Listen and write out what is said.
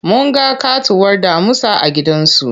Mun ga ƙatuwar damusa a gidan zu.